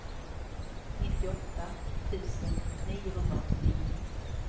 nittioåtta tusen niohundraåttionio